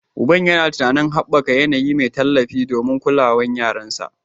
Uban yana tunanin haɓaka yanayi mai tallafi da kulawa domin yaransa